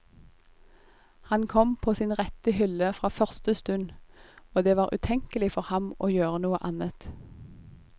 Han kom på sin rette hylle fra første stund, og det var utenkelig for ham å gjøre noe annet.